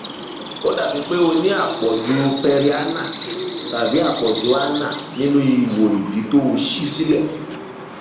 ó dàbíi pé o ní àpọjù perianal tàbí àpọjù anal nínu ihò ìdí tó ṣí sílẹ